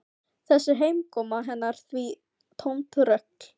Þessi heimkoma hennar því tómt rugl.